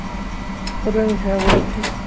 কোথায় আমি হ্যাঁ বলেছি.